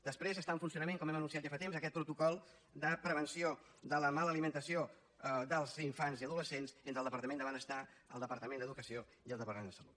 després està en funcionament com hem anunciat ja fa temps aquest protocol de prevenció de la mala alimentació dels infants i adolescents entre el departament de benestar el departament d’educació i el departament de salut